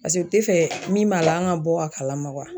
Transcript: Paseke u te fɛ min b'a la anw ka bɔ a kalama